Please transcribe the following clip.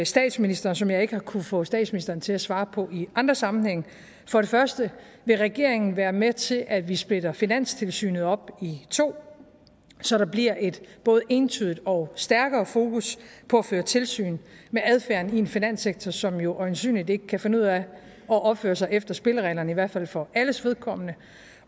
statsministeren som jeg ikke har kunnet få statsministeren til at svare på i andre sammenhænge for det første vil regeringen være med til at vi splitter finanstilsynet op i to så der bliver et både entydigt og stærkere fokus på at føre tilsyn med adfærden i en finanssektor som jo øjensynligt ikke kan finde ud af at opføre sig efter spillereglerne i hvert fald ikke for alles vedkommende